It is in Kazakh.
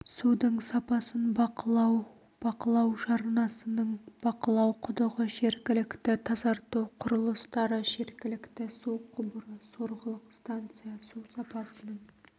судың сапасын бақылау бақылау жармасының бақылау құдығы жергілікті тазарту құрылыстары жергілікті су құбыры сорғылық станция су сапасының